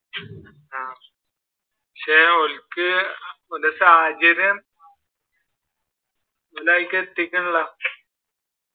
പക്ഷെ ഓർക്ക് അവരുടെ സാഹചര്യം അനുകൂലമായിട്ട്